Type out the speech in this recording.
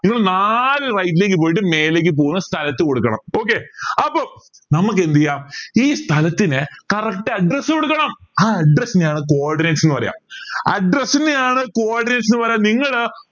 നിങ്ങൾ നാല് right ലേക്ക് പോയിട്ട് മേലേക്ക് പോണ സ്ഥലത്ത് കൊടുക്കണം okay അപ്പോ നമുക്കെന്തിയ ഈ സ്ഥലത്തിന് correct address കൊടുക്കണം ആഹ് address നെയാണ് coordinates ന്ന് പറയാ address നെയാണ് coordinates ന്ന് പറയാ നിങ്ങള്